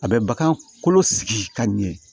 A bɛ bagan kolo sigi ka ɲɛ